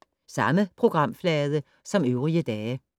Samme programflade som øvrige dage